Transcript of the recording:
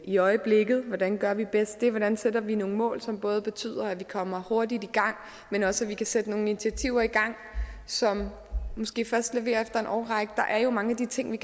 i øjeblikket hvordan gør vi bedst det hvordan sætter vi nogle mål som både betyder at vi kommer hurtigt i gang men også at vi kan sætte nogle initiativer i gang som måske først leverer efter en årrække der er jo mange af de ting vi